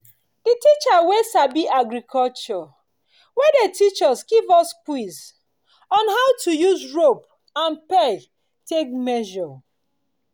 the teacher we sabi agriculture wey dey teach us give us quiz on how to use rope and peg take dey measure